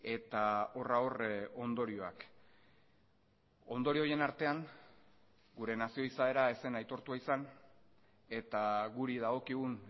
eta horra hor ondorioak ondorio horien artean gure nazio izaera ez zen aitortua izan eta guri dagokigun